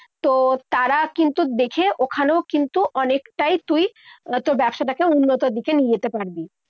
তোর তারা কিন্তু দেখে ওখানেও কিন্তু অনেকটাই তুই তোর ব্যবসাটাকে উন্নতর দিকে নিয়ে যেতে পারবি।